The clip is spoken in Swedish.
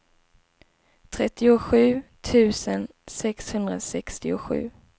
trettiosju tusen sexhundrasextiosju